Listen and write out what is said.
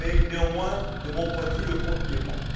Néanmoins, de mon point de vue, le compte n'y est pas.